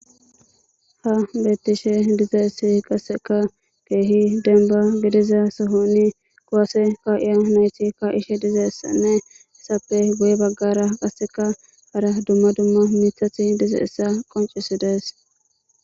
Ha beettishe dizayssi qasseka keehi denba gidiza sohonni kowase ka'iya nayti ka ishe dizaessanne essappe guye baggara qaseka hara dumma dumma miithathi diza issa qoncisi dees.